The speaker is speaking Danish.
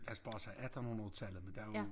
Altså bare sig attenhundredetallet men der jo